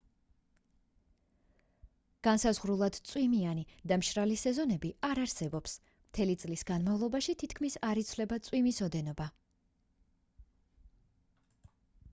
განსაზღვრულად წვიმიანი და მშრალი სეზონები არ არსებობს მთელი წლის განმავლობაში თითქმის არ იცვლება წვიმის ოდენობა